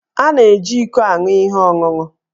A na-eji íkó aṅụ ihe ọṅụṅụ